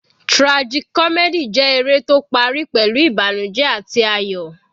Tragic comedy jẹ́ eré tó parí pẹ̀lú ìbànújẹ àti ayọ̀.